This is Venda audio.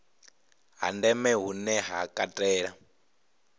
ha ndeme hune ha katela